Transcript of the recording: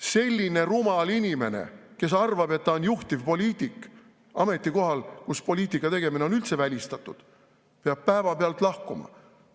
Selline rumal inimene, kes arvab, et ta on juhtivpoliitik, ametikohal, kus poliitika tegemine on üldse välistatud, peab päevapealt lahkuma.